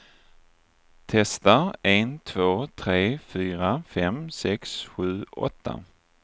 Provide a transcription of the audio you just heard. Testar en två tre fyra fem sex sju åtta.